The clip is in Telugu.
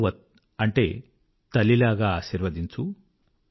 మాతృవత్ అంటే తల్లిలాగా ఆశీర్వదించు